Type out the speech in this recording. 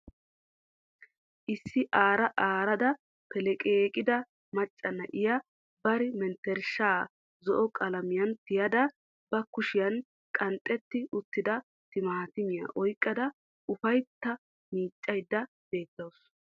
Issi aara aarada peleqqeeqida macca na'iya bari mentershaa zo"o qalamiyan tiyada ba kushiyan qanxxetti uttida timaatimiya oyqada ufaytta miiccayda beettawusu.